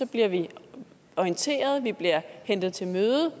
bliver vi orienteret vi bliver hentet til møde